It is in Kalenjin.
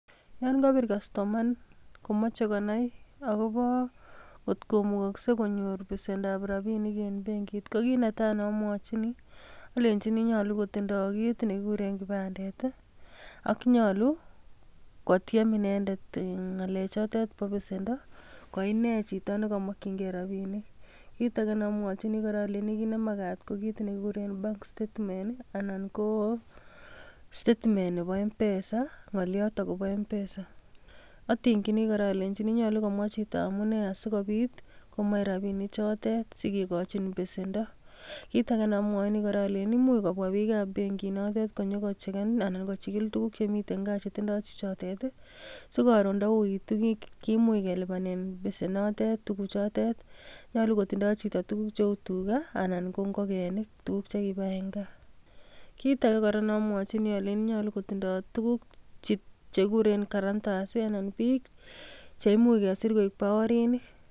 Yon kobiir kastoma komoche konai akobo kot komukoksei konyoor besendab rabinik en benkiit, ko kit netai neomwochi alenyiini nyolu kotindoi kit nekikuurren kipandet i.Ak nyolu kotiem inendet ngalechotet Bo besendoo ko inee chito nekomokyingei rabinik. Kitage neomwochini, olenyini kit nemakat ko kit nekikuuren bank statements anan ko statement nebo mpesa. Ngoliot akobo mpesa, atingyiini kora olenyiin nyolu komwa chito amune asikobiit komach rabinichotet sikikochin besendoo. Kitage kora neomwochini olenyini imuch kobwa biik ab benkiinotet konyon kochegen anan kochigil tuguuk chemiten gaa chetindoo chichotet sikoron ndo uitu kimuche kelipanen besenotet tuguchotet. Nyolu kotindoi chito tuguuk cheu tugaa anan ko ingokenik tuguk chekibai en gaa. Kitage kora neomeochini olenyini nyolu kotindoi tuguuk chekikuuren guarantors anan biik cheimuch kesir koik baorinik.